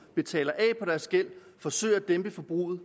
betaler af på deres gæld forsøger at dæmpe forbruget